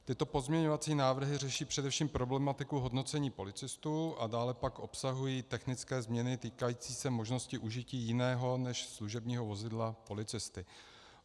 Tyto pozměňovací návrhy řeší především problematiku hodnocení policistů a dále pak obsahují technické změny týkající se možnosti užití jiného než služebního vozidla policisty.